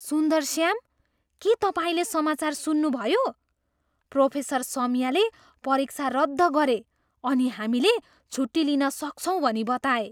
सुन्दरस्याम, के तपाईँले समाचार सुन्नुभयो? प्रोफेसर सौम्याले परीक्षा रद्द गरे अनि हामीले छुट्टी लिन सक्छौँ भनी बताए!